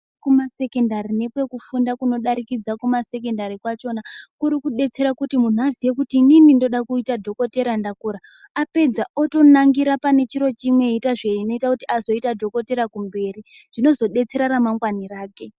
Kumasekondari nekwekufunda kunodarikidza kumasekondari kwachona kuri kudetsera kuti muntu azive kuti inini ndinode kuita dhokodheya ndakura apedza otonangira pane chiro chimwe eita zvinoita azoita dhokodheya kumberi zvinozodetsera ramangwani rake